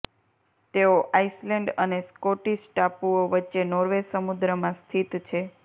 તેઓ આઇસલેન્ડ અને સ્કોટ્ટીશ ટાપુઓ વચ્ચે નોર્વે સમુદ્રમાં સ્થિત છે